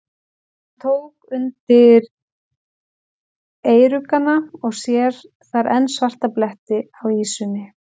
Hann tók undir eyruggana og sér þar enn svarta bletti á ýsunni.